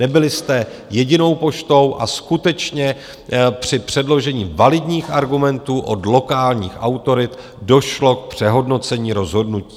Nebyli jste jedinou poštou a skutečně při předložení validních argumentů od lokálních autorit došlo k přehodnocení rozhodnutí.